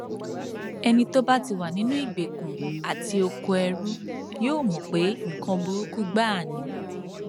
ẹni tó bá ti wà nínú ìgbèkùn àti okoẹrú yóò mọ pé nǹkan burúkú gbáà ni